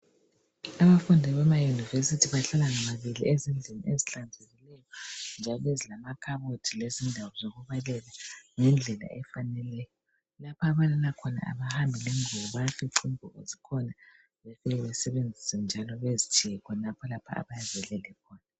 Abafundi bama university bahlala ngababili ezindlini ezihlanzekileyo njalo ezilamakhabothi lezindawo zokubalela ngendlela efaneleyo. Lapha ababalela khona abahambi lengubo bayafica ingubo zikhona besebenzise njalo bezitshiye khonapho abayabe belele khona